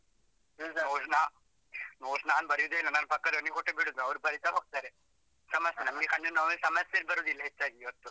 Notes ನಾನು ಬರಿಯುದೆ ಇಲ್ಲ, ನನ್ ಪಕ್ಕದವನಿಗೆ ಕೊಟ್ಟು ಬಿಡುದು ಅವರು ಬರಿತಾ ಹೋಗ್ತಾರೆ. ಸಮಸ್ಸೆ ನಮ್ಗೆ ಕಣ್ಣು ನೋವದ್ದು ಸಮಸ್ಸೆ ಬರುದಿಲ್ಲ ಹೆಚ್ಚಾಗಿ ಇವತ್ತು.